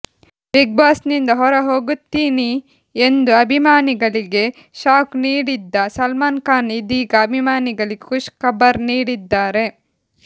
ಬಿಗ್ಬಾಸ್ನಿಂದ ಹೊರ ಹೋಗುತ್ತೀನಿ ಎಂದು ಅಭಿಮಾನಿಗಳಿಗೆ ಶಾಕ್ ನೀಡಿದ್ದ ಸಲ್ಮಾನ್ ಖಾನ್ ಇದೀಗ ಅಭಿಮಾನಿಗಳಿಗೆ ಖುಷ್ ಖಬರ್ ನೀಡಿದ್ದಾರೆ